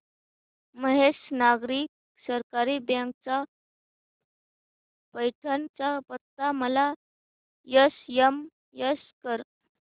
Mahesh Nagari Sahakari bank चा पैठण चा पत्ता मला एसएमएस कर